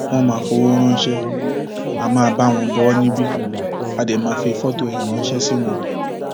wọn máa fọwọ ránṣẹ á máa bá wọn bó o níbí á dé máa fi fọtò ẹ ránṣẹ sí wọn